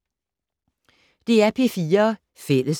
DR P4 Fælles